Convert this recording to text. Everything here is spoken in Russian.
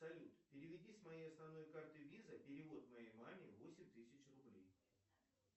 салют переведи с моей основной карты виза перевод моей маме восемь тысяч рублей